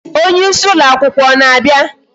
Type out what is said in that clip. Onyeisi ụlọ akwụkwọ ọ na-abịa?